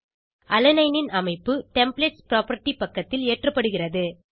alanine ன் அமைப்பு templates property பக்கத்தில் ஏற்றப்படுகிறது